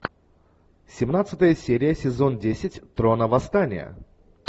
семнадцатая серия сезон десять трона восстания